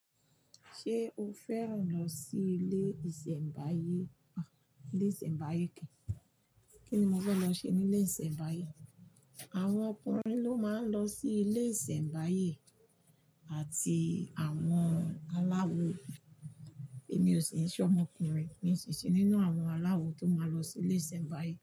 Ṣé o fẹ́ràn lọ sí ilé ìsẹ̀mbáyé? Ilé ìsẹ̀mbáyé kẹ́, kí ni mo fẹ́ lọ ṣe ní ilé ìsẹ̀mbáyé? Àwọn ọkùnrin ló máa ń lọ sí ilé ìsẹ̀mbáyé àti àwọn aláwo. Èmi ò sì ń ṣọ ọmọkùnrin, èmi sì ṣe nínú àwọn aláwo tó máa lọ sí ilé ìsẹ̀mbáyé.